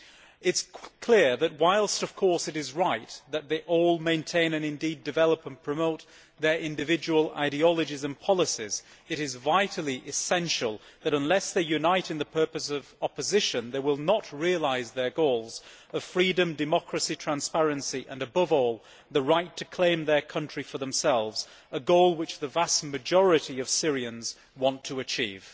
It is clear that, whilst of course it is right that they all maintain and indeed develop and promote their individual ideologies and policies, it is vitally essential that, unless they unite in the purpose of opposition, they will not realise their goals of freedom, democracy, transparency and above all the right to claim their country for themselves, a goal which the vast majority of Syrians want to achieve.